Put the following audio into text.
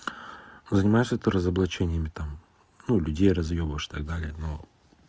занимаешься ты разоблачениями там ну людей разъебуешь и так далее но